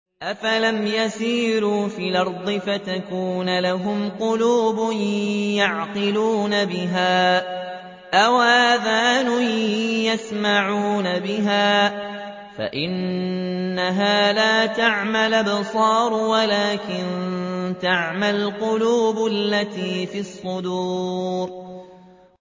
أَفَلَمْ يَسِيرُوا فِي الْأَرْضِ فَتَكُونَ لَهُمْ قُلُوبٌ يَعْقِلُونَ بِهَا أَوْ آذَانٌ يَسْمَعُونَ بِهَا ۖ فَإِنَّهَا لَا تَعْمَى الْأَبْصَارُ وَلَٰكِن تَعْمَى الْقُلُوبُ الَّتِي فِي الصُّدُورِ